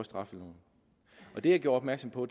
straffeloven det jeg gjorde opmærksom på